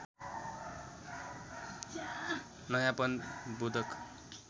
नयाँपन बोधक